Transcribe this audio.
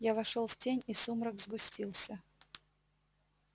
я вошёл в тень и сумрак сгустился